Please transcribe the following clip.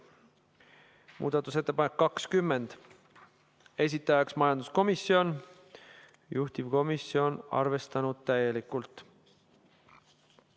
Muudatusettepanek nr 20, esitajaks majanduskomisjon, juhtivkomisjon on arvestanud täielikult.